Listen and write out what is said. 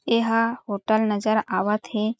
एहा होटल नज़र आवत हे।